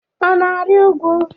Ọ na-arị úgwú?